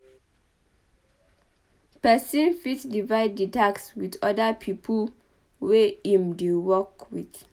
Person fit divide the task with other pipo wey im dey work with